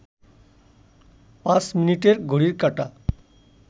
পাঁচ মিনিটের ঘড়ির কাঁটা